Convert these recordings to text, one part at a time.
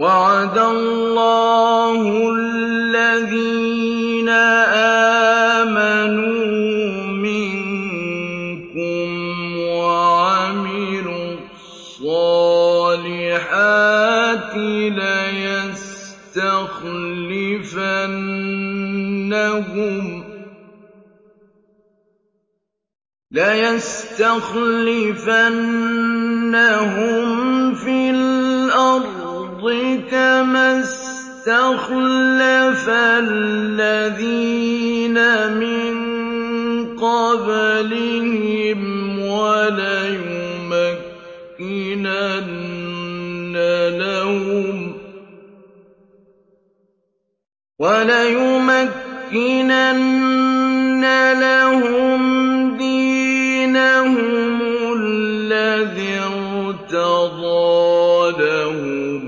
وَعَدَ اللَّهُ الَّذِينَ آمَنُوا مِنكُمْ وَعَمِلُوا الصَّالِحَاتِ لَيَسْتَخْلِفَنَّهُمْ فِي الْأَرْضِ كَمَا اسْتَخْلَفَ الَّذِينَ مِن قَبْلِهِمْ وَلَيُمَكِّنَنَّ لَهُمْ دِينَهُمُ الَّذِي ارْتَضَىٰ لَهُمْ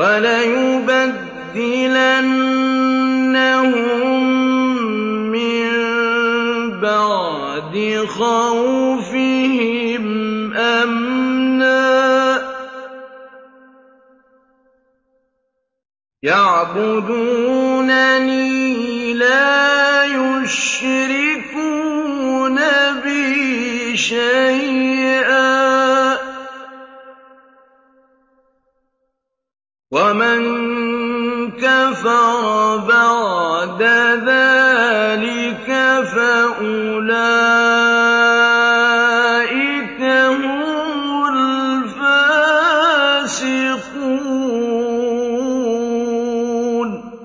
وَلَيُبَدِّلَنَّهُم مِّن بَعْدِ خَوْفِهِمْ أَمْنًا ۚ يَعْبُدُونَنِي لَا يُشْرِكُونَ بِي شَيْئًا ۚ وَمَن كَفَرَ بَعْدَ ذَٰلِكَ فَأُولَٰئِكَ هُمُ الْفَاسِقُونَ